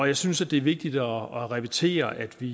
jeg synes det er vigtigt at repetere at vi